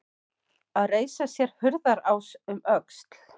Að reisa sér hurðarás um öxl